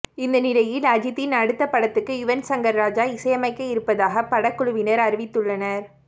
இந்த நிலையில் அஜித்தின் அடுத்த படத்துக்கு யுவன் சங்கர் ராஜா இசையமைக்க இருப்பதாக படக்குழுவினர் அறிவித்துள்ளனர்